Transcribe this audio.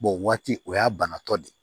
o waati o y'a banatɔ de ye